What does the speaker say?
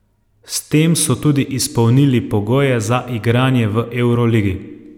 S tem so tudi izpolnili pogoje za igranje v evroligi.